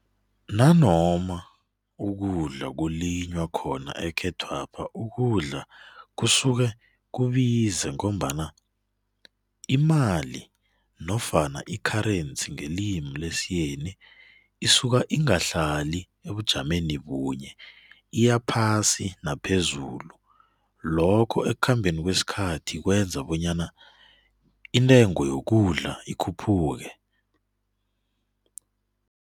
Nanoma ukudla ukulinywa khona ekhethwapha, ukudla kusuke kubize ngombana imali nofana i-currency ngelimi lesiyeni isuka ingahlali ebujameni bunye, iyaphasi naphezulu. Lokho ekukhambeni kwesikhathi kwenza bonyana intengo yokudla ikhuphuke.